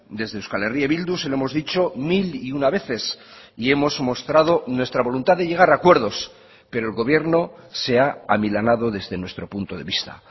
desde euskal herria bildu se lo hemos dicho mil y una veces y hemos mostrado nuestra voluntad de llegar a acuerdos pero el gobierno se ha amilanado desde nuestro punto de vista